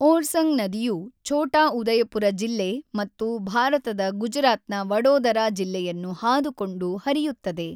ಓರ್ಸಂಗ್ ನದಿಯು ಛೋಟಾ ಉದಯಪುರ ಜಿಲ್ಲೆ ಮತ್ತು ಭಾರತದ ಗುಜರಾತ್‌ನ ವಡೋದರಾ ಜಿಲ್ಲೆಯನ್ನು ಹಾದುಕೊಂಡು ಹರಿಯುತ್ತದೆ.